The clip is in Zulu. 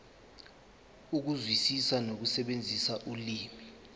ukuzwisisa nokusebenzisa ulimi